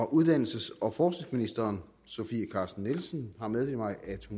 uddannelses og forskningsministeren har meddelt mig at